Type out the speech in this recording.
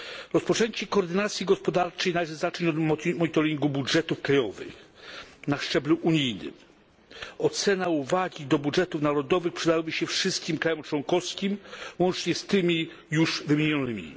Rozpoczęcie koordynacji gospodarczej należy zacząć od monitoringu budżetów krajowych na szczeblu unijnym. Ocena i uwagi dotyczące budżetów narodowych przydałyby się wszystkim krajom członkowskim łącznie z tymi już wymienionymi.